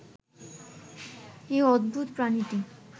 এই অদ্ভূত প্রাণীটি